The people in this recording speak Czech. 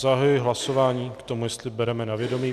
Zahajuji hlasování k tomu, jestli bereme na vědomí.